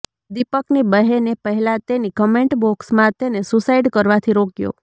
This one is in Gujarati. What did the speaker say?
દીપકની બહેને પહેલા તેની કોમેન્ટ બોક્સમાં તેને સુસાઈડ કરવાથી રોક્યો